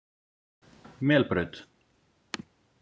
Melbraut